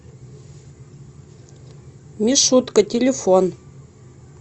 мишутка телефон